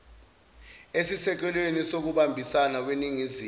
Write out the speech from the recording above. esisekelweni sokubambisana weningizimu